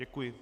Děkuji.